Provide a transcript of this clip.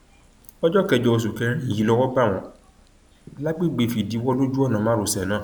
ọjọ kẹjọ oṣù kẹrin yìí lọwọ bá wọn lágbègbè fìdíwọ lójú ọnà márosẹ náà